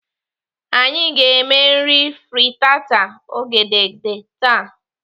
Anyị ga-eme nri fritata ogede taa.